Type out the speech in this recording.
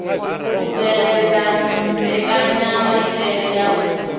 u bveledza mbekenyamaitele ya u